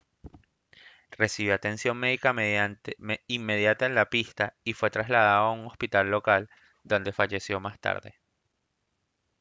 recibió atención médica inmediata en la pista y fue trasladado a un hospital local donde falleció más tarde